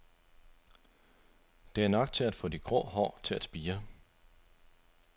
Det er nok til at få de grå hår til at spire.